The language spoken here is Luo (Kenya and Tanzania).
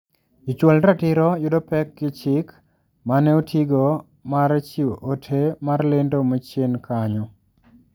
Jochwal ratiro yudo pek gi chik mane otigo mar chiwo ote mar lendo machien kanyo.